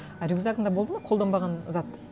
а рюкзагыңда болды ма қолданбаған зат